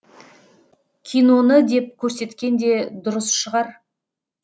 киноны деп көрсеткен де дұрыс шығар